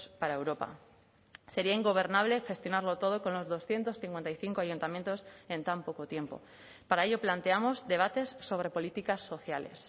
para europa sería ingobernable gestionarlo todo con los doscientos cincuenta y cinco ayuntamientos en tan poco tiempo para ello planteamos debates sobre políticas sociales